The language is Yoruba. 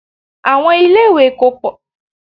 Àwọn ilé-ìwé kò pọ̀ tó báyìí ní ayé àtijọ́